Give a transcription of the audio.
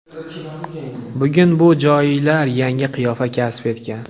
Bugun bu joylar yangi qiyofa kasb etgan.